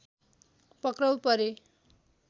पक्राउ परे